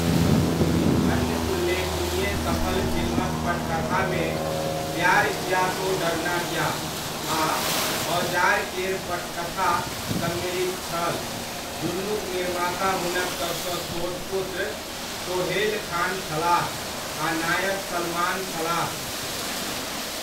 अन्य उल्लेखनीय सफल फिल्मक पटकथामे 'प्यार किया तो डरना क्या' आ 'औजार' केर पटकथा सम्मिलित छल, दुनुक निर्माता हुनक सभसँ छोट पुत्र सोहेल खान छलाह आ नायक सलमान छलाह।